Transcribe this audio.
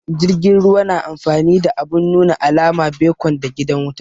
Jirgin ruwa na amfani da abun nuna alama, becon da gidan wuta